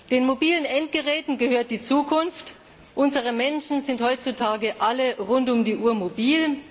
Den mobilen Endgeräten gehört die Zukunft, unsere Menschen sind heutzutage alle rund um die Uhr mobil.